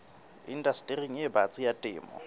indastering e batsi ya temo